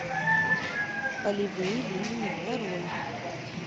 полевые линии нарой